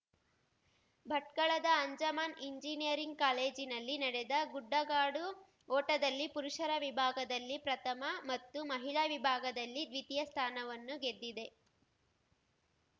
ಭಟ್ಕಳದ Anjuman engineering ಕಾಲೇಜಿನಲ್ಲಿ ನಡೆದ ಗುಡ್ಡಗಾಡು ಓಟದಲ್ಲಿ ಪುರುಷರ ವಿಭಾಗದಲ್ಲಿ ಪ್ರಥಮ ಮತ್ತು ಮಹಿಳಾ ವಿಭಾಗದಲ್ಲಿ ದ್ವಿತೀಯ ಸ್ಥಾನವನ್ನು ಗೆದ್ದಿದೆ